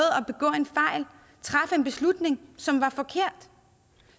at en beslutning som var forkert